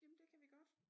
Jamen det kan vi godt